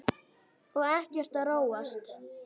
Og ekkert að róast?